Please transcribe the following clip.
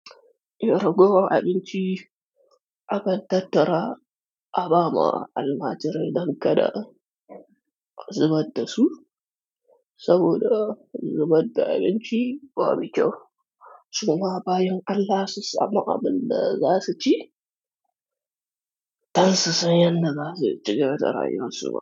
Rogowar abinci akan tattara abaama almaajirai dan kada a zubar dasu saboda zu badda abnci babu kyau. Suma bayin allah su samu abinda zasu ci, dan su san yanda zasu cigaba da rayuwar su ba.